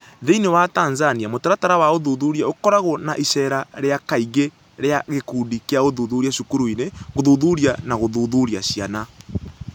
Thĩinĩ wa Tanzania, mũtaratara wa ũthuthuria ũkoragwo na iceera rĩa kaingĩ rĩa gĩkundi kĩa ũthuthuria cukuru-inĩ gũthuthuria na gũthuthuria ciana.